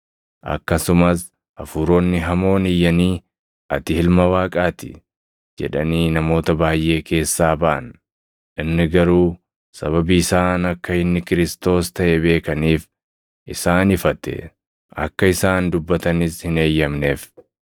Akkasumas hafuuronni hamoon iyyanii, “Ati Ilma Waaqaa ti!” jedhanii namoota baayʼee keessaa baʼan. Inni garuu sababii isaan akka inni Kiristoos + 4:41 yookaan Masiihii taʼe beekaniif isaan ifate; akka isaan dubbatanis hin eeyyamneef.